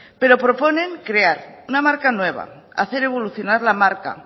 pero proponen crear una marca nueva hacer evolucionar la marca